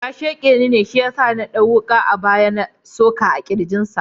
Ya shaƙe ni ne Shiyasa na ɗau wuka a baya na na soke kirjin sa.